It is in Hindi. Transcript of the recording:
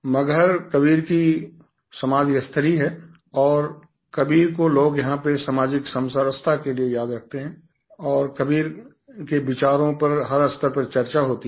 मगहरकबीर की समाधि स्थली है और कबीर को लोग यहाँ पर सामाजिक समरसता के लिए याद रखते हैं और कबीर के विचारों पर हर स्तर पर चर्चा होती है